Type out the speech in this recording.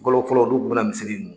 Fɔlɔ fɔlɔ , n'u tun bɛna misisiri in mun